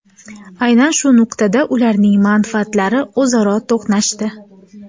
Aynan shu nuqtada ularning manfaatlari o‘zaro to‘qnashdi.